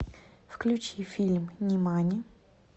включи фильм нимани